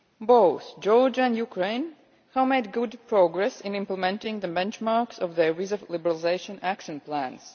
Both Georgia and Ukraine have made good progress in implementing the benchmarks of their Visa Liberalisation Action Plans.